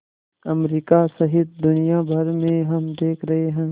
America सहित दुनिया भर में हम देख रहे हैं